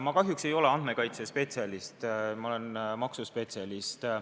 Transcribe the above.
Ma kahjuks ei ole andmekaitsespetsialist, ma olen maksuspetsialist.